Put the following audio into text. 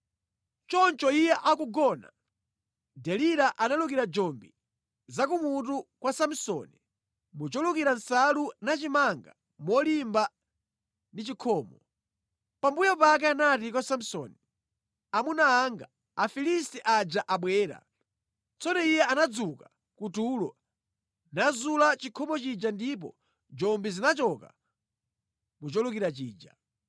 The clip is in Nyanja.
Choncho iye akugona, Delila analukira njombi za ku mutu kwa Samsoni mu cholukira nsalu nachimanga molimba ndi chikhomo. Pambuyo pake anati kwa Samsoni, “Amuna anga, Afilisti aja abwera!” Tsono iye anadzuka ku tulo, nazula chikhomo chija ndipo njombi zinachoka mu cholukira chija.